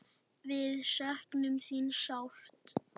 Við söknum þín sárt.